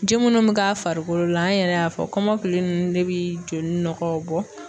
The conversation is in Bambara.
Ji munnu bɛ k'a farikolo la an yɛrɛ y'a fɔ kɔmɔkili nunnu de bi joli nɔgɔw bɔ.